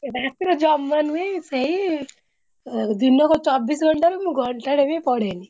ରାତିରେ ଜମା ନୁହେ ସେଇ ଏ ଦିନକ ଚବିଶ ଘଣ୍ଟାରୁ ମୁଁ ଘଣ୍ଟାଟେ ବି ପଢେନି।